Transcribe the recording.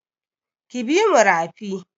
Ki bi mu rafi!